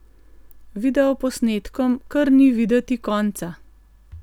Videoposnetkom kar ni videti konca.